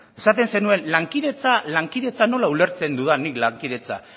esaten zenuen nola ulertzen dudan nik lankidetza